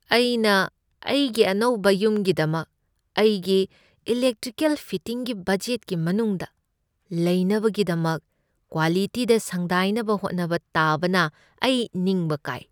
ꯑꯩꯅ ꯑꯩꯒꯤ ꯑꯅꯧꯕ ꯌꯨꯝꯒꯤꯗꯃꯛ ꯑꯩꯒꯤ ꯏꯂꯦꯛꯇ꯭ꯔꯤꯀꯦꯜ ꯐꯤꯇꯤꯡꯒꯤ ꯕꯖꯦꯠꯀꯤ ꯃꯅꯨꯡꯗ ꯂꯩꯅꯕꯒꯤꯗꯃꯛ ꯀ꯭ꯋꯥꯂꯤꯇꯤꯗ ꯁꯪꯗꯥꯏꯅꯕ ꯍꯣꯠꯅꯕ ꯇꯥꯕꯅ ꯑꯩ ꯅꯤꯡꯕ ꯀꯥꯏ꯫